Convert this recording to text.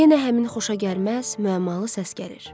Yenə həmin xoşagəlməz müəmmalı səs gəlir.